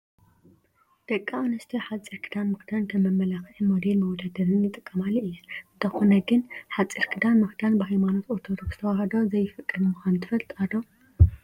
ደቂ አንስትዮ ሓፂር ክዳን ምክዳን ከም መመላክዒ ሞዴል መወዳደሪን ይጥቀማሉ እየን፡፡ እንተኾነ ግን ሓፂር ክዳን ምክዳን ብሃይማኖት ኦርቶዶክሰ ተዋህዶ ዘይፍቀድ ምኳኑ ትፈልጣ ዶ?